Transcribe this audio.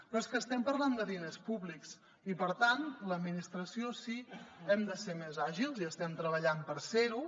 però és que estem parlant de diners públics i per tant l’administració sí hem de ser més àgils i estem treballant per ser ho